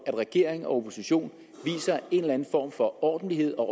regering og opposition viser en eller anden form for ordentlighed og